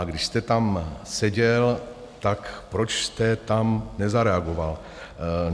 A když jste tam seděl, tak proč jste tam nezareagoval?